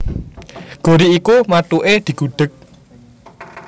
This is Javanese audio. Gori iku mathuke digudhèg